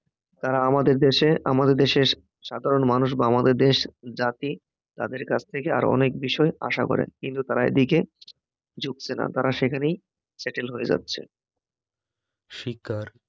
তারা আমাদের দেশে, আমাদের দেশের সাধারণ মানুষ বা আমাদের দেশ, জাতি তাদের কাছ থেকে আরও অনেক বিষয় আশা করেন, কিন্তু তারা এদিকে ঝুঁকছে না, তারা সেখানেই settle হয়ে যাচ্ছে শিক্ষা